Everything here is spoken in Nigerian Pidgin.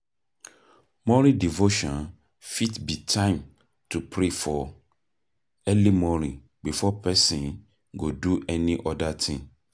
Morning devotion fit be time to pray for early morning before person go do any oda thing